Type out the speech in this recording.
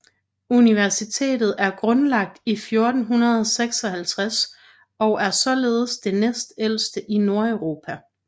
Universitetet er grundlagt i 1456 og er således det næstældste i Nordeuropa